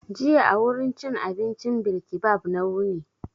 Jiya a wurin cin abincin bilkibab na wuni.